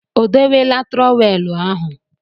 O dowela trọweelụ ahụ?